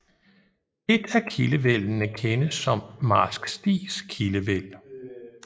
Et af kildevældene kendes som Marsk Stigs Kildevæld